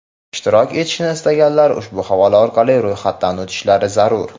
Ishtirok etishni istaganlar ushbu havola orqali ro‘yxatdan o‘tishlari zarur.